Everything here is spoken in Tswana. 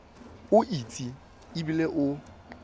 o itse e bile o